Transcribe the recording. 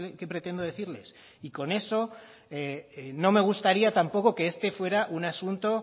que pretendo decirles y con eso no me gustaría tampoco que este fuera un asunto